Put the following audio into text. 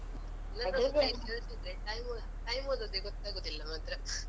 Time ಹೋದದ್ದೇ ಗೊತ್ತಾಗುವುದಿಲ್ಲ ಮಾತ್ರ